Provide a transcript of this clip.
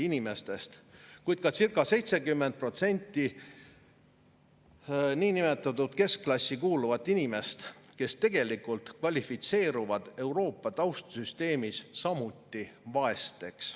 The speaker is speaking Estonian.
Reformierakonna, sotside, 200-laste primitiivne majanduspoliitika, mis seisneb vaid maksude, lõivude ja aktsiiside tõstmises, lööb kõige valusamalt alla vaesuspiiri elavaid inimesi, keda on circa 20%, kuid ka niinimetatud keskklassi kuuluvaid inimesi, keda on circa 70% ja kes tegelikult kvalifitseeruvad Euroopa taustsüsteemis samuti vaesteks.